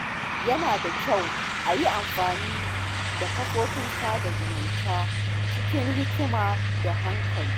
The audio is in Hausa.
Yana da kyau a yi amfani da kafafen sada zumunta cikin hikima da hankali.